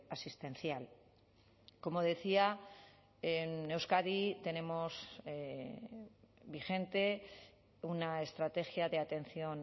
asistencial como decía en euskadi tenemos vigente una estrategia de atención